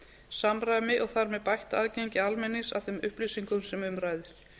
samræmi og þar með bætt aðgengi almennings að þeim upplýsingum sem um ræðir